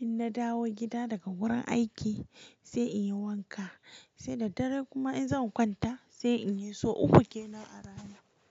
in na dawo gida daga wurin aiki sai in yi wanka. Sai da dare kuma in zan kwanta sai in yi. Sau uku kenan a rana.